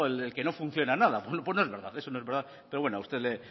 del que no funciona nada pues no es verdad eso no es verdad pero bueno a usted